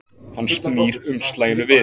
Hann snýr umslaginu við.